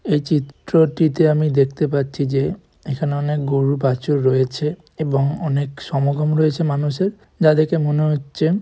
এই চিত্রটিতে আমি দেখতে পাচ্ছি যে এখানে অনেক গরু বাছুর রয়েছে এবং অনেক সমাগম রয়েছে মানুষের যা দেখে মনে হচ্ছে --